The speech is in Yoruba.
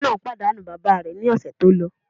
Ọmọ náà pàdánù bàbá rẹ̀ ní ọ̀sẹ̀ tó lọ.